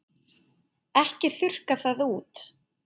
Ekki þurrka það út.